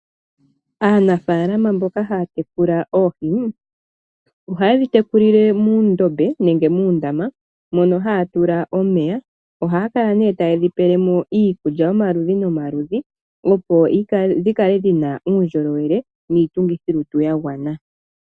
Aanafaalama mboka haya tekula oohi . Ohayedhi tekulile muundombe nenge muundama mono haya tula omeya. Ohaya kala nee tayedhi pelemo iikulya yomaludhi nomaludhi opo dhikale dhina uundjolowele niitungithi yolutu yagwana.